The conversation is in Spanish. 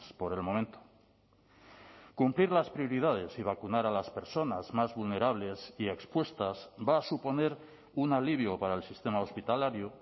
por el momento cumplir las prioridades y vacunar a las personas más vulnerables y expuestas va a suponer un alivio para el sistema hospitalario